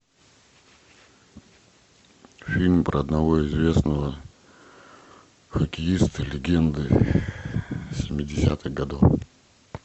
фильм про одного известного хоккеиста легенды семидесятых годов